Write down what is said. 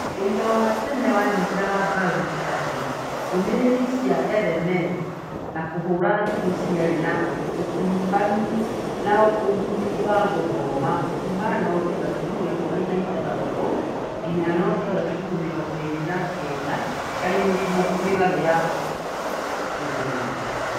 Ũira wa tene wanyitaga mbaru atĩ ndũmĩrĩri cia SMS na kũhũra thimũ ciarĩ na ũkuruhanu na ũguni wa gũthoma kũma noti gaturumo ikũmi na ithathatu nginya noti gaturumo mĩrongo ĩĩrĩ na kenda harĩ mĩgarũ ya mũhianĩre.